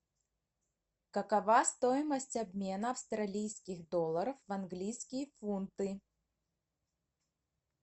какова стоимость обмена австралийских долларов в английские фунты